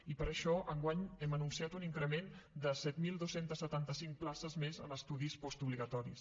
i per això enguany hem anunciat un increment de set mil dos cents i setanta cinc places més en estudis postobligatoris